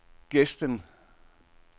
Gesten